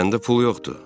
Məndə pul yoxdur.